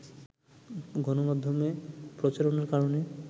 গণমাধ্যমে প্রচারণার কারণে